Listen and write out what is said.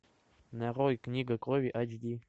нарой книга крови айч ди